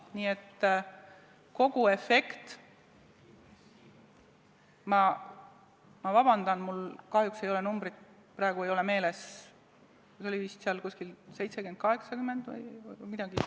Nii et kogu efekt – vabandust, mul kahjuks ei ole arvud praegu meeles – oli vist 70 miljonit, 80 miljonit või midagi.